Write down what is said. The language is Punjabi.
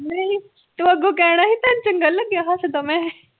ਤੂੰ ਅੱਗੋ ਕਹਿਣਾ ਤੁਹਾਨੂੰ ਚੰਗਾ ਨੀ ਲੱਗਿਆ ਹੱਸਦਾ ਮੈ